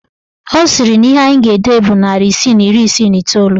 Ọ sịrị na ihe anyị ga-ede bụ narị isii na iri isii na iteolu